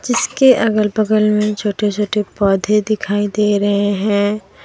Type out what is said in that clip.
इसके अगल बगल में छोटे छोटे पौधे दिखाई दे रहे हैं।